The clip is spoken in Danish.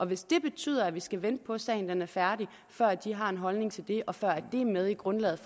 hvis det betyder at vi skal vente på at sagen er færdig før de har en holdning til det og før det er med i grundlaget